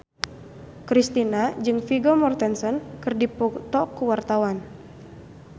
Kristina jeung Vigo Mortensen keur dipoto ku wartawan